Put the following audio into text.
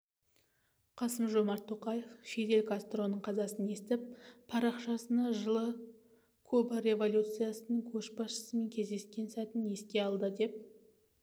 қасым-жомарт тоқаев фидель кастроның қазасын естіп парақшасына жылы куба революциясының көшбасшысымен кездескен сәтін еске алды деп